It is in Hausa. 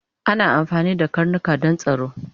Ana amfani da karnika Dan tsaro